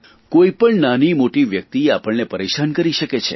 કોણ પણ નાની મોટી વ્યકિત આપણને પરેશાન કરી શકે છે